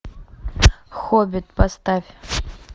хоббит поставь